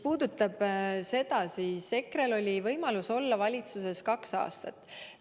EKRE-l oli võimalus olla valitsuses kaks aastat.